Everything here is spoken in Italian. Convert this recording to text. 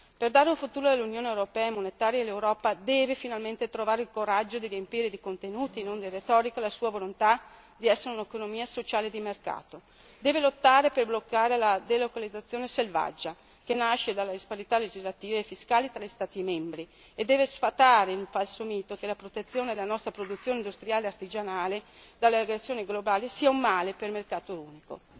Per dare un futuro all'Unione europea e monetaria, l'Europa deve finalmente trovare il coraggio di riempire di contenuti e non di retorica la sua volontà di essere un'autonomia sociale e di mercato, deve lottare per bloccare la delocalizzazione selvaggia che nasce dalle disparità legislative e fiscali fra gli Stati membri e deve sfatare il falso mito che la protezione della nostra produzione industriale e artigianale dalla recessione globale sia un male per il mercato unico.